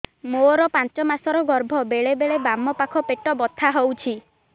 ମୋର ପାଞ୍ଚ ମାସ ର ଗର୍ଭ ବେଳେ ବେଳେ ମୋ ବାମ ପାଖ ପେଟ ବଥା ହଉଛି